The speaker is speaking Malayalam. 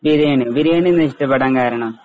ബിരിയാണി. ബിരിയാണി എന്നാ ഇഷ്ടപ്പെടാൻ കാരണം.